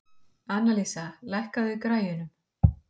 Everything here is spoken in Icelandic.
Annalísa, lækkaðu í græjunum.